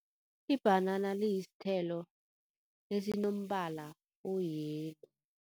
Ibhanana liyisithelo esinombala oyelo.